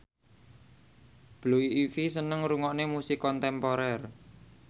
Blue Ivy seneng ngrungokne musik kontemporer